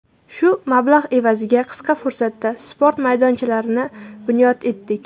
Shu mablag‘ evaziga qisqa fursatda sport maydonchalarini bunyod etdik.